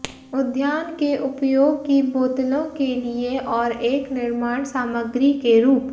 उद्यान के उपयोग की बोतलों के लिए और एक निर्माण सामग्री के रूप